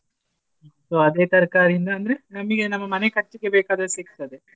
So ಅದೇ ತರಕಾರಿಯಿಂದ ಅಂದ್ರೆ ನಮ್ಮ ಮನೆ ಖರ್ಚಿಗೆ ಬೇಕಾದಷ್ಟು ಸಿಗ್ತದೆ.